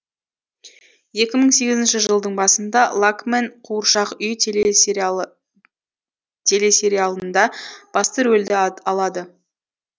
екі мың сегізінші жылдың басында лакмэн қуыршақ үй телесериалы телесериалында басты рөлді алады